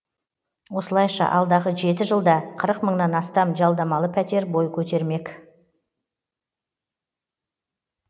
осылайша алдағы жеті жылда қырық мыңнан астам жалдамалы пәтер бой көтермек